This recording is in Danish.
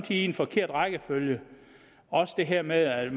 en forkert rækkefølge også det her med at